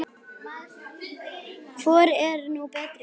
Hvor er nú betri?